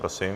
Prosím.